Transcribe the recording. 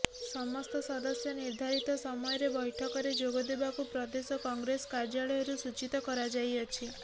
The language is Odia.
ସମସ୍ତ ସଦସ୍ୟ ନିର୍ଦ୍ଧାରିତ ସମୟରେ ବୈଠକରେ ଯୋଗଦେବାକୁ ପ୍ରଦେଶ କଂଗ୍ରେସ କାର୍ଯ୍ୟାଳୟରୁ ସୂଚୀତ କରାଯାଇଅଛି